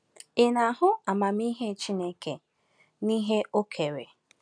Ị na-ahụ amamihe Chineke n’ihe ọ kere?